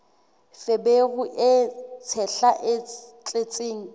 feberu e tshehla e tletseng